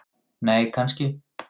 nei kannski